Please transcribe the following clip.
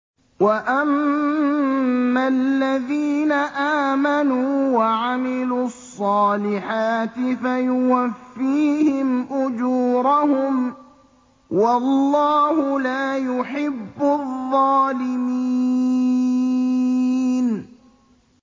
وَأَمَّا الَّذِينَ آمَنُوا وَعَمِلُوا الصَّالِحَاتِ فَيُوَفِّيهِمْ أُجُورَهُمْ ۗ وَاللَّهُ لَا يُحِبُّ الظَّالِمِينَ